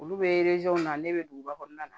Olu bɛ na ne bɛ duguba kɔnɔna na